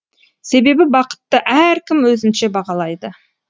себебі бақытты әркім өзінше бағалайды